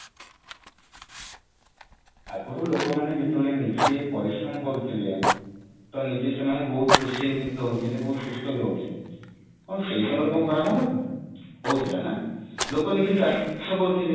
ଆଗରୁ ଯେତେବେଳେ ଲୋକ ନିଜେ ପରିଶ୍ରମ କରୁଥିଲେ ତ ନିଜେ ସେମାନେ ବହୁତ ଖୁସିରେ ରହୂଥିଲେ ବହୁତ ସୁସ୍ଥ ବି ରହୁଥିଲେ କଣ ସେଇ ସମୟରେ କଣ ଖରା ହଉନଥିଲା ହଉ ଥିଲା ନା ଲୋକ ନିଜେ ଚାଷ କରୁଥିଲେ